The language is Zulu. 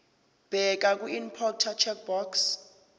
bheka kwiimporter checkbox